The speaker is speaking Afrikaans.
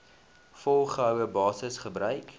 volgehoue basis gebruik